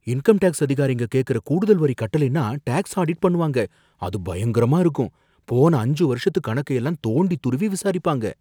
Income tax அதிகாரிங்க கேக்குற கூடுதல் வரி கட்டலைன்னா டேக்ஸ் ஆடிட் பண்ணுவாங்க, அது பயங்கரமா இருக்கும், போன அஞ்சு வருஷத்து கணக்க எல்லாம் தோண்டித் துருவி விசாரிப்பாங்க.